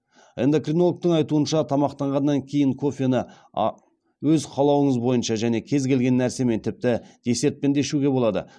эндокринологтың айтуынша тамақтанғаннан кейін кофені өз қалауыңыз бойынша және кез келген нәрсемен тіпті десертпен де ішуге болады